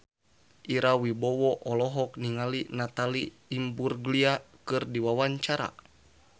Ira Wibowo olohok ningali Natalie Imbruglia keur diwawancara